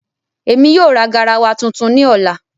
Ẹmi yóò ra gáràwà tuntun ni ọlà.